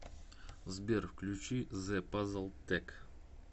сбер включи зе пазл тек